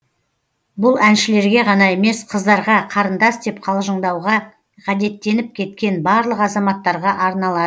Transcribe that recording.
бұл әншілерге ғана емес қыздарға қарындас деп қалжыңдауға ғадеттеніп кеткен барлық азаматтарға арналады